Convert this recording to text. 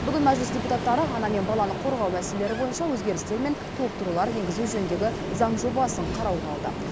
бүгін мәжіліс депутаттары ана мен баланы қорғау мәселелері бойынша өзгерістер мен толықтырулар енгізу жөніндегі заң жобасын қарауға алды